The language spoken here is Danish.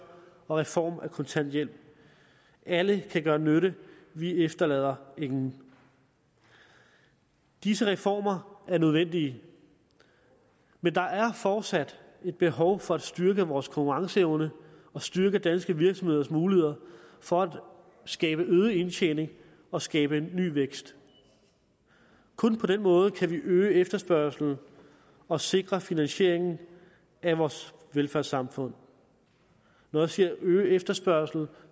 og reform af kontanthjælp alle kan gøre nytte vi efterlader ingen disse reformer er nødvendige men der er fortsat et behov for at styrke vores konkurrenceevne og styrke danske virksomheders muligheder for at skabe øget indtjening og skabe ny vækst kun på den måde kan vi øge efterspørgslen og sikre finansieringen af vores velfærdssamfund når jeg siger øge efterspørgslen